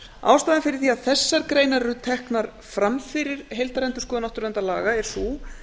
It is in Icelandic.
ástæðan fyrir því að þessar greinar eru teknar fram fyrir heildarendurskoðun náttúruverndarlaga er sú